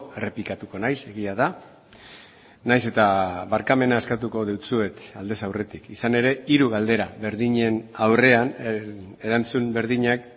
errepikatuko naiz egia da nahiz eta barkamena eskatuko dizuet aldez aurretik izan ere hiru galdera berdinen aurrean erantzun berdinak